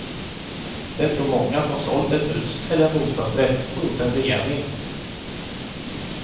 Det tror många som sålt ett hus eller en bostadsrätt och gjort en reavinst.